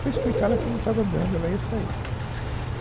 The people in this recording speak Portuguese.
Foi explicar lá que não estava dando, ela ia sair.